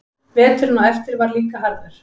Veturinn á eftir var líka harður.